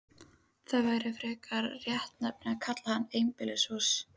Það væri frekar réttnefni að kalla hann einbýlishús.